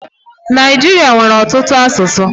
Naijiria nwere ọtụtụ asụsụ.